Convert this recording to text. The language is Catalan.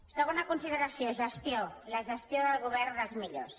segona consideració gestió la gestió del govern dels millors